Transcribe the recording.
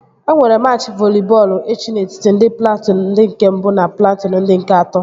E nwere machị voli bọọlụ echi n'etiti ndị platụụn ndị nke mbụ na platụụn ndị nke atọ